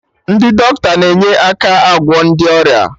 Ndị dọkịta na-enye aka agwọ ndị ọrịa